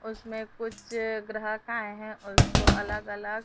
उसमें कुछ ग्राहक का हैं उसको अलग अलग--